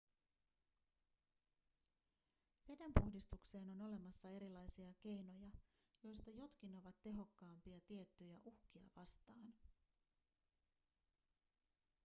veden puhdistukseen on olemassa erilaisia keinoja joista jotkin ovat tehokkaampia tiettyjä uhkia vastaan